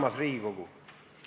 Armas Riigikogu!